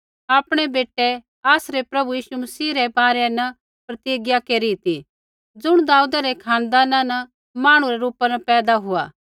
आपणै बेटै आसरै प्रभु यीशु मसीह रै बारै न प्रतिज्ञा केरी ती ज़ुण दाऊदै रै खानदाना न मांहणु रै रूपा न पैदा हुआ